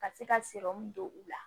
Ka se ka don u la